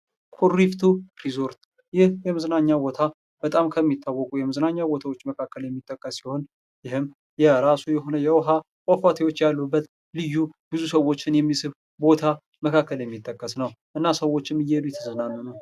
ኩሪፍቱ ሪዞርት ይህ የመዝናኛ ቦታ በጣም ከሚታወቁ የመዝናኛ ቦታዎች መካከል የሚጠቀስ ሲሆን፤ ይህም የራሱ የሆነ የውኃ ፏፏቴዊች ያሉበት ልዩ ብዙ ሰዎችን የሚስብ ቦታ መካከል የሚጠቀስ ነው እና ሰዎችም እየሄዱ እየተዝናኑ ነው።